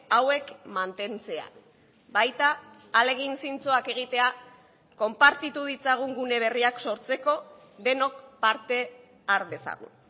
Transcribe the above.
hauek mantentzea baita ahalegin zintzoak egitea konpartitu ditzagun gune berriak sortzeko denok parte har dezagun